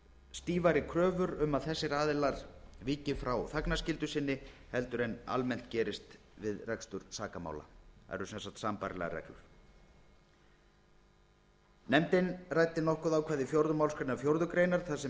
stífari kröfur um að þessir aðilar víki frá þagnarskyldu sinni heldur en almennt gerist við rekstur sakamála það eru sem sagt sambærilegar reglur nefndin ræddi nokkuð um ákvæði fjórðu málsgrein fjórðu grein þar sem